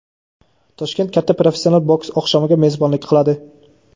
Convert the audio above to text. Toshkent katta professional boks oqshomiga mezbonlik qiladi.